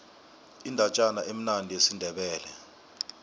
indatjana emnandi yesindebele